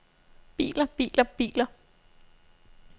biler biler biler